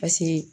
Paseke